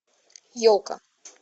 елка